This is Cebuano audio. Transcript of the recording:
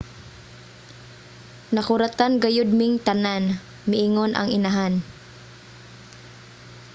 "nakuratan gayud ming tanan, miingon ang inahan